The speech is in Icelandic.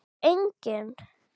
Er enginn?